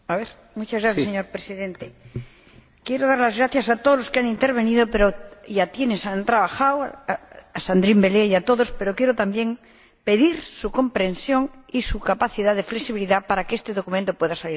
Señor Presidente, quiero dar las gracias a todos los que han intervenido y a quienes han trabajado —a Sandrine Bélier y al resto—, y también quiero pedir su comprensión y su capacidad de flexibilidad para que este documento pueda salir adelante.